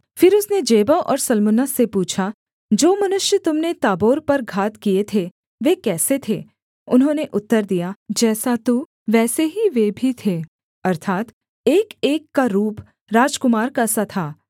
फिर उसने जेबह और सल्मुन्ना से पूछा जो मनुष्य तुम ने ताबोर पर घात किए थे वे कैसे थे उन्होंने उत्तर दिया जैसा तू वैसे ही वे भी थे अर्थात् एकएक का रूप राजकुमार का सा था